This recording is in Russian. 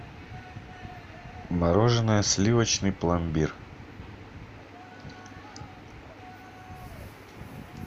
мороженое сливочный пломбир